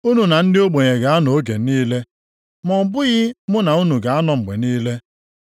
Unu na ndị ogbenye ga-anọ oge niile, ma ọ bụghị mụ na unu ga-anọ mgbe niile.